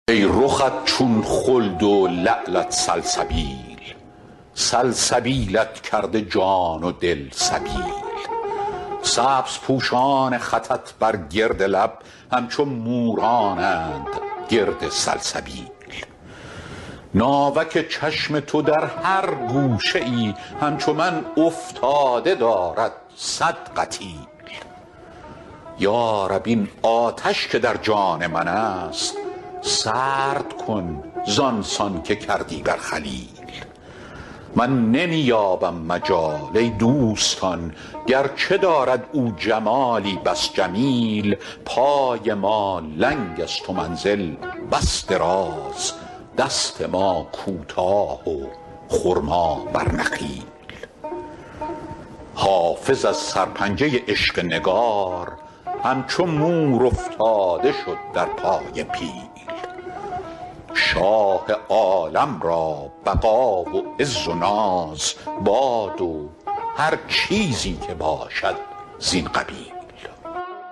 ای رخت چون خلد و لعلت سلسبیل سلسبیلت کرده جان و دل سبیل سبزپوشان خطت بر گرد لب همچو مورانند گرد سلسبیل ناوک چشم تو در هر گوشه ای همچو من افتاده دارد صد قتیل یا رب این آتش که در جان من است سرد کن زان سان که کردی بر خلیل من نمی یابم مجال ای دوستان گرچه دارد او جمالی بس جمیل پای ما لنگ است و منزل بس دراز دست ما کوتاه و خرما بر نخیل حافظ از سرپنجه عشق نگار همچو مور افتاده شد در پای پیل شاه عالم را بقا و عز و ناز باد و هر چیزی که باشد زین قبیل